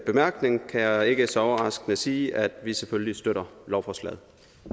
bemærkning kan jeg ikke så overraskende sige at vi selvfølgelig støtter lovforslaget